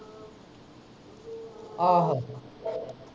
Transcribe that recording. ਆਹੋ।